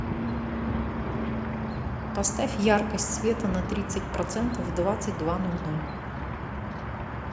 поставь яркость света на тридцать процентов в двадцать два ноль ноль